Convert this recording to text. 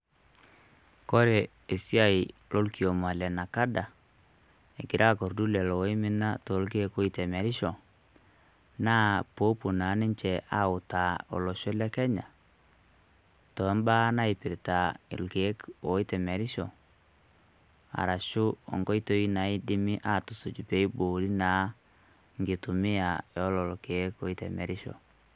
Kore esiai lokioma le NACADA egira akordu lelo oimina torkeek oitemerisho, naa popuo na ninche autaa olosho le Kenya, tombaa naipirta irkeek oitemerisho, arashu onkoitoi naidimi atusuj peiboori naa enkitumia ololo keek oitemerisho.